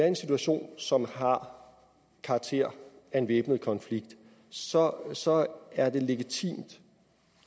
en situation som har karakter af en væbnet konflikt så så er det legitimt